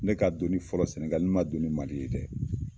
Ne ka don fɔlɔ Senegali ne ma don ni Mali ye dɛ!